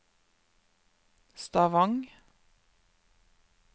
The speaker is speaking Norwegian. Stavang